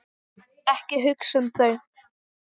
Ekki hugsa um þau!